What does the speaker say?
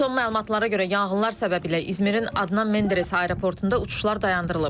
Son məlumatlara görə yanğınlar səbəbiylə İzmirin Adnan Menderes aeroportunda uçuşlar dayandırılıb.